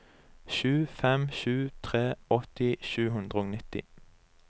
sju fem sju tre åtti sju hundre og nitti